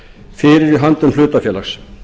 fyrir í höndum hlutafélags